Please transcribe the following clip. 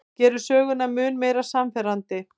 Gerir söguna mun meira sannfærandi.